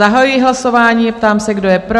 Zahajuji hlasování, ptám se, kdo je pro?